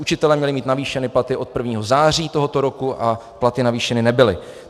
Učitelé měli mít navýšeny platy od 1. září tohoto roku a platy navýšeny nebyly.